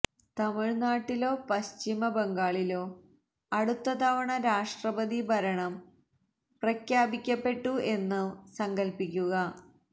തമിഴ്നാട്ടിലോ പശ്ചിമ ബംഗാളിലോ അടുത്ത തവണ രാഷ്ട്രപതി ഭരണം പ്രഖ്യാപിക്കപ്പെട്ടു എന്നു സങ്കല്പിക്കുക